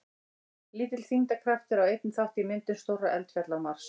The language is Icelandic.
Lítill þyngdarkraftur á einnig þátt í myndum stórra eldfjalla á Mars.